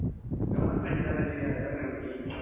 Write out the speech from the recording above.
ಗಮ್ಮತ್ ಮಾಡಿದ್ರಲ್ಲ new year, ನಮಗೆ ಇಲ್ಲಪ್ಪ.